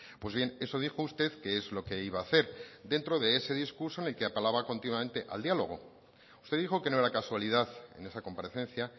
pues bien eso dijo usted qué es lo que iba a hacer dentro de ese discurso en el que apelaba continuamente al diálogo usted dijo que no era casualidad en esa comparecencia